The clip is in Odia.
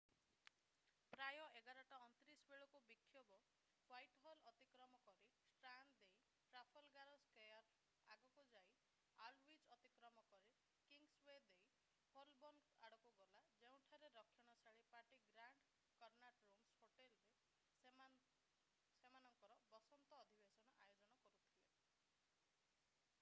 ପ୍ରାୟ 11:29 ବେଳକୁ ବିକ୍ଷୋଭ ହ୍ୱାଇଟହଲ ଅତିକ୍ରମ କରି ଷ୍ଟ୍ରାଣ୍ଡ୍ ଦେଇ ଟ୍ରାଫାଲଗାର୍ ସ୍କୋୟାର୍ ଆଗକୁ ଯାଇ ଆଲଡୱିଚ୍ ଅତିକ୍ରମ କରି କିଙ୍ଗସୱେ ଦେଇ ହୋଲବୋର୍ନ୍ ଆଡକୁ ଗଲା ଯେଉଁଠାରେ ରକ୍ଷଣଶୀଳ party grand Connaught rooms hotel ରେ ସେମାନଙ୍କର ବସନ୍ତ ଅଧିବେଶନ ଆୟୋଜନ କରୁଥିଲେ